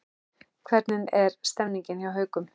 Hvernig er stemningin hjá Haukum?